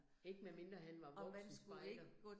Ikke medmindre han var voksenspejder